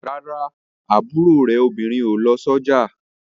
Rárá, àbúrò ẹ̀gbọ́n rẹ̀ obìnrin ò fi òróró lọ sójà